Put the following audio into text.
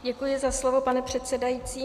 Děkuji za slovo, pane předsedající.